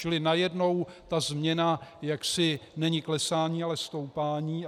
Čili najednou ta změna jaksi není klesání, ale stoupání.